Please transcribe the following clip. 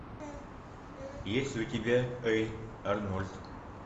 есть ли у тебя эй арнольд